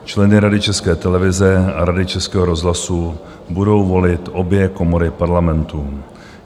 Členy Rady České televize a Rady Českého rozhlasu budou volit obě komory Parlamentu.